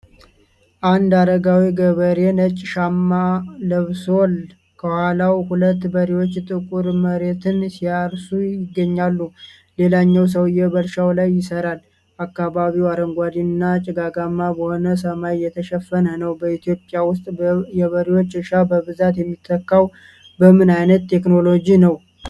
አንድ አረጋዊ ገበሬ ነጭ ሻማ ለብሷል። ከኋላው ሁለት በሬዎች ጥቁር መሬትን ሲያርሱ ይገኛሉ፤ ሌላኛው ሰውም በእርሻው ላይ ይሰራል። አካባቢው አረንጓዴ እና ጭጋጋማ በሆነ ሰማይ የተሸፈነ ነው። በኢትዮጵያ ውስጥ የበሬዎች እርሻ በብዛት የሚተካው በምን ዓይነት ቴክኖሎጂ ነው?